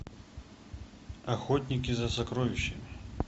охотники за сокровищами